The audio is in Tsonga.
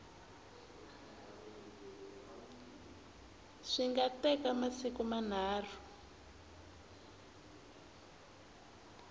swi nga teka masiku manharhu